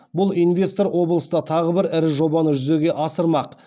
бұл инвестор облыста тағы бір ірі жобаны жүзеге асырмақ